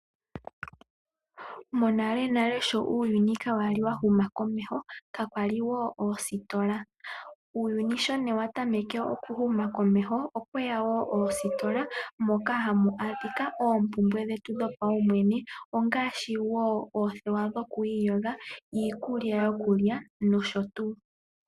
Monalenale sho uuyuni kaakwali wahuma komeho kakwali woo oostola. Uuyuni sho ne watameke okuhuma komeho okweya woo oostola moka hamu adhika oompumbwe dhetu dhopaumwene